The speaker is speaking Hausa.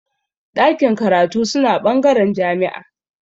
Ɗakin karatu suna bangaren jami'a